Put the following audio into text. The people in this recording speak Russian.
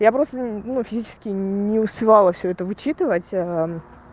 я просто ну физически не успевала всё это вычитывать